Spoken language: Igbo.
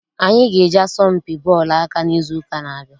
Anyị ga- eje asọmpi bọọlụ aka n'izu ụka na-abịa.